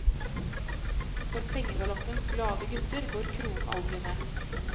For pengegaloppens glade gutter, går kronen aldri ned.